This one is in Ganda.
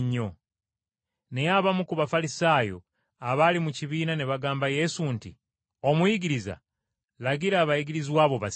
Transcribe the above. Naye abamu ku Bafalisaayo abaali mu kibiina ne bagamba Yesu nti, “Omuyigiriza, lagira abayigirizwa bo basirike!”